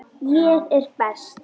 Lóa-Lóa vissi alveg af hverju.